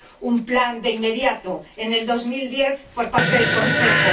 un plan inmediato, en 2010, por parte del Consejo.